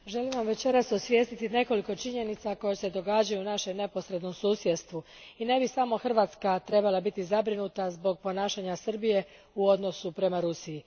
Gospođo predsjednice, želim vam večeras osvijestiti nekoliko činjenica koje se događaju u našem neposrednom susjedstvu i ne bi samo Hrvatska trebala biti zabrinuta zbog ponašanja Srbije u odnosu prema Rusiji.